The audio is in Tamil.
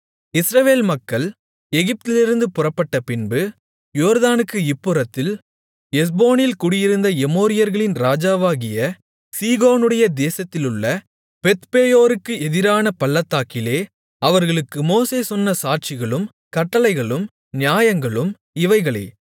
இஸ்ரவேல் மக்கள் எகிப்திலிருந்து புறப்பட்டபின்பு யோர்தானுக்கு இப்புறத்தில் எஸ்போனில் குடியிருந்த எமோரியர்களின் ராஜாவாகிய சீகோனுடைய தேசத்திலுள்ள பெத்பேயோருக்கு எதிரான பள்ளத்தாக்கிலே அவர்களுக்கு மோசே சொன்ன சாட்சிகளும் கட்டளைகளும் நியாயங்களும் இவைகளே